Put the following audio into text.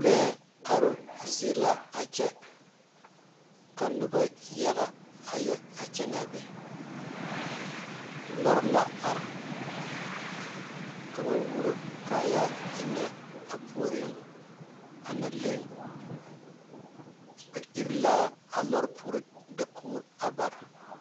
Lɔɛ are zieŋ la a kyɛ ka noba yaga a kyɛne a be lɔɔre la are ka wuoro kaayaare enɛ a puoriŋ a na laŋe ba eri la a pare poɔ dakoŋe bare.